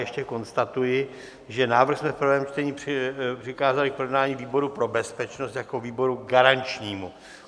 Ještě konstatuji, že návrh jsme v prvém čtení přikázali k projednání výboru pro bezpečnost jako výboru garančnímu.